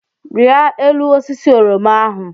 Rịa elu osisi oroma ahụ!